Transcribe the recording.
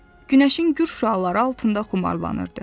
Günəşin gür şüaları altında xumarlaşırdı.